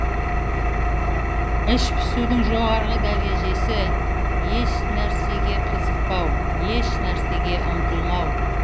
іш пысудың жоғарғы дәрежесі еш нәрсеге қызықпау еш нәрсеге ұмтылмау